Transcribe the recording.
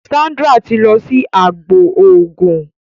Sandra tí lọ sì àgbò oògùn.